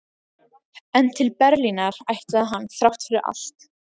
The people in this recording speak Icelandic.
En til Berlínar ætlaði hann þrátt fyrir allt.